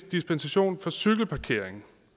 dispensation for cykelparkering